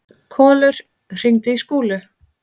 Kolur, hringdu í Skúlu.